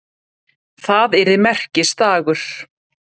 Það yrði merkisdagur.